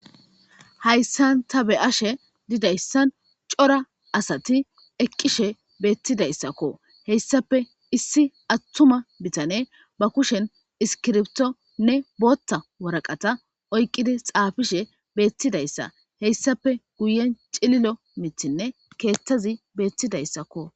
Hayssan ta be ashe didayssan cora asati eqqishe beettidayssakko heyssape issi attuma bitane ba kushen iskirbtonne bootta waraqata oyqqidi xaafishe beettidayssa heyssape guyen cililo mitinne keeththazi beettidayssakko.